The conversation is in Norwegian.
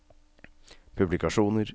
publikasjoner